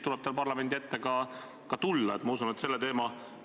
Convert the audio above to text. Ja tehke palun vahet kriitikal ja konkreetsel süüdistusel või süüdistamisel.